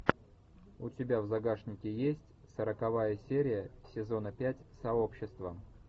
у тебя в загашнике есть сороковая серия сезона пять сообщества